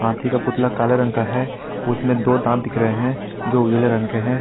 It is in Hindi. हाथी का पुतला काले रंग का है उसमें दो दांत दिख रहे हैं जो उजले रंग के हैं।